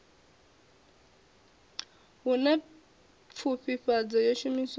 hu na pfufhifhadzo yo shumiswaho